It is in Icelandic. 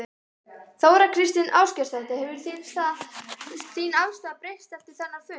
Þóra Kristín Ásgeirsdóttir: Hefur þín afstaða breyst eftir þennan fund?